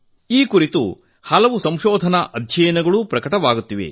ಈ ಕುರಿತು ಹಲವು ಸಂಶೋಧನಾ ಅಧ್ಯಯನಗಳು ಪ್ರಕಟವಾಗುತ್ತಿವೆ